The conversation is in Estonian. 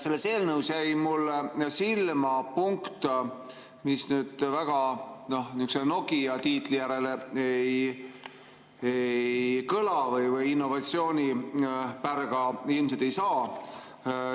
Selles eelnõus jäi mulle silma punkt, mis nüüd Nokia tiitli moodi väga ei kõla või innovatsioonipärga ilmselt ei saa.